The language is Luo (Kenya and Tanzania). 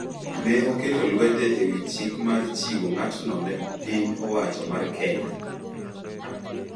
ne oketo lwete ewi chik mar chiwo ng’atno ne piny owacho mar Kenya.